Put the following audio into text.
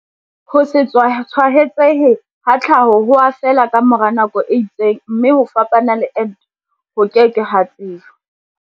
Ho se tshwaetsehe ha tlhaho ho a fela ka mora nako e itseng mme ho fapana le ente, ho ke ke ha tsejwa.